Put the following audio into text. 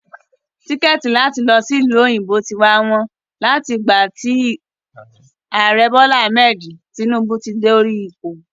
Tíkẹ́ẹ̀tì láti lọ sí ìlú òyìnbó ti wá wọ́n láti ìgbà tí Ààrẹ Bola Ahmed Tinubu ti dé orí ipò.